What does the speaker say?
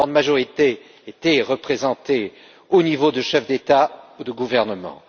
Une grande majorité était représentée au niveau des chefs d'État et de gouvernement.